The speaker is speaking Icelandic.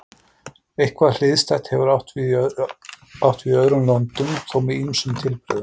Eitthvað hliðstætt hefur átt við í öðrum löndum, þó með ýmsum tilbrigðum.